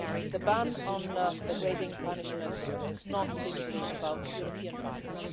The ban on degrading punishments is not simply about European values.